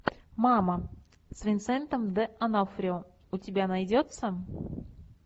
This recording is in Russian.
мама с винсентом д онофрио у тебя найдется